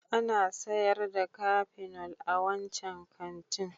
Ana sayar da Kafinol a wancan kantin